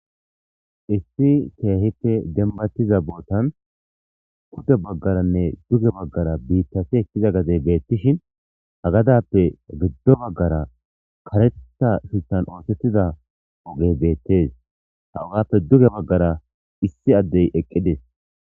Issi teehite dembatiza bootan kuda baggaranne duge baggara biittafi ekkiza gadey beettishin hagadappe giddo baggara karetta shuttan oosettida ogey beettes ha ugappe duge baggara issi addey eqqides.